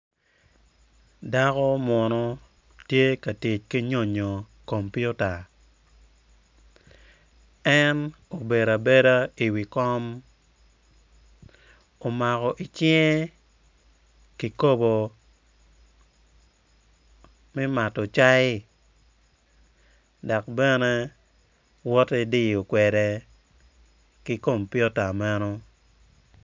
Dako munu tye ka tic ki nyonyo kompiuta en bedo abeda i wi kom omako i cinge kikopo me mato cai dok bene woto idiyo kwede ki kompiuta meno